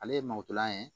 Ale ye malotɔla ye